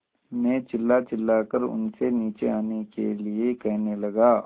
मैं चिल्लाचिल्लाकर उनसे नीचे आने के लिए कहने लगा